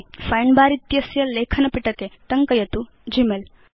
find bar इत्यस्य लेखनपिटके टङ्कयतु ग्मेल